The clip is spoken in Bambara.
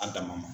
A damana